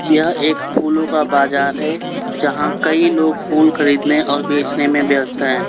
यह एक फूलों का बाजार है जहां कई लोग फूल खरीदने और बेचने में ब्यस्त हैं।